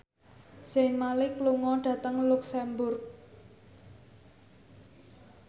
Zayn Malik lunga dhateng luxemburg